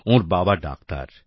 ওর বাবা ডাক্তার